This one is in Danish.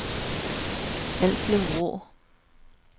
Alslev Vrå